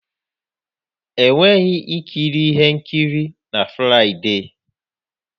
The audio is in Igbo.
Enweghị ikiri ihe nkiri na Fraịde.